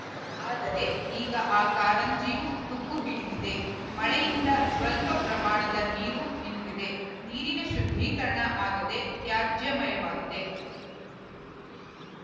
ಆದರೆ ಈಗ ಆ ಕಾರಂಜಿಯೂ ತುಕ್ಕು ಹಿಡಿದಿದೆ ಮಳೆಯಿಂದ ಸ್ವಲ್ಪ ಪ್ರಮಾಣದ ನೀರು ನಿಂತಿದೆ ನೀರಿನ ಶುದ್ಧೀಕರಣ ಆಗದೆ ತ್ಯಾಜ್ಯಮಯವಾಗಿದೆ